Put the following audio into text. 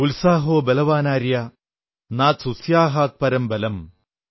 ഉത്സാഹോ ബലവാനാര്യ നാസ്ത്യുത്സാഹാത്പരം ബലം